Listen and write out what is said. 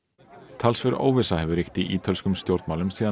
talsverð óvissa hefur ríkt í ítölskum stjórnmálum síðan